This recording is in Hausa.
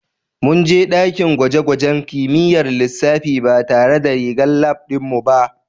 Mun je dakin gwaje-gwajen kimiyyar lissafi ba tare da rigar lab ɗin mu ba